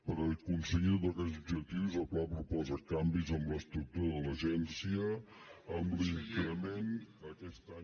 per aconseguir tots aquests objectius el pla proposa canvis en l’estructura de l’agència amb l’increment aquest any